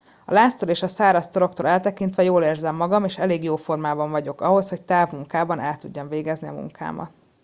a láztól és a száraz toroktól eltekintve jól érzem magam és elég jó formában vagyok ahhoz hogy távmunkában el tudjam végezni a munkámat